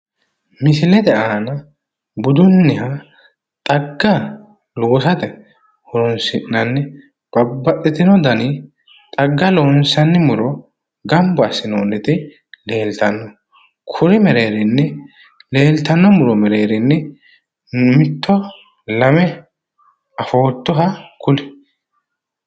Misilete aana budunniha xagga loosate horoonsi'nanni babbaxxitino dani xagga loonsanni muro gamba assinoonniti leeltanno. Kuri mereerinni leeltanno muro mereerinni mitto lame afoottoha kuli.